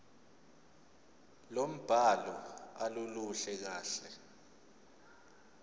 lombhalo aluluhle kahle